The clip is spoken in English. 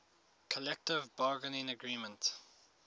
collective bargaining agreement